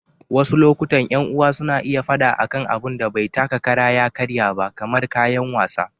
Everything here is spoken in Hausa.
Wasu lokutan, ƴan uwa suna iya faɗa akan abun da bai taka kara ya karya ba, kamar kayan wasa.